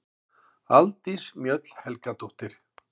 Aldís Mjöll Helgadóttir